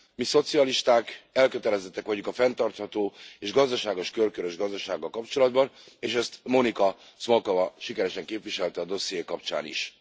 Mi, szocialisták elkötelezettek vagyunk a fenntartható és gazdaságos, körkörös gazdasággal kapcsolatban, és ezt Monika Smolková sikeresen képviselte a dosszié kapcsán is.